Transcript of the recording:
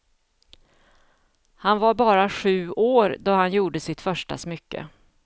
Han var bara sju år då han gjorde sitt första smycke.